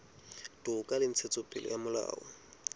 toka le ntshetsopele ya molao